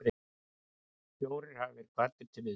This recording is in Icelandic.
Fjórir hafa verið kvaddir til viðtals